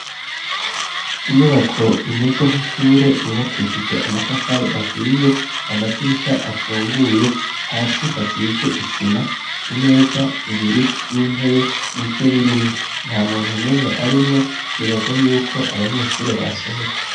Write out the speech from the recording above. Inyubako imeze nk'ishure yubakishije amatafari ahiye, amadirisha afunguye, hasi hasize isima, imeza zibiri n'intebe nivyo birimwo, nta muntu n'umwe arimwo, twibaza yuko abanyeshuri basohotse.